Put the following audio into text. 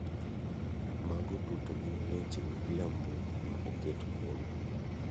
Mago duto gin weche miriambo ma oket kuome.